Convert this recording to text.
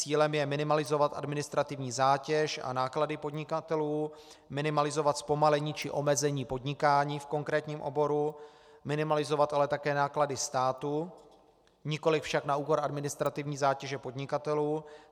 Cílem je minimalizovat administrativní zátěž a náklady podnikatelů, minimalizovat zpomalení či omezení podnikání v konkrétním oboru, minimalizovat ale také náklady státu, nikoliv však na úkor administrativní zátěže podnikatelů.